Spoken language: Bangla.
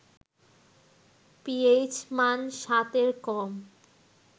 পিএইচ মান ৭ এর কম